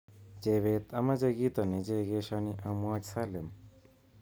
Chebet amache kito nichekeshoni amwoch Salim